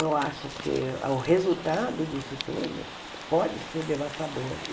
Eu acho que o resultado disso tudo pode ser devastador.